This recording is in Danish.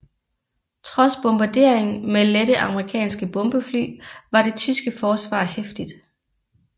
Trods bombardering med lette amerikanske bombefly var det tyske forsvar heftigt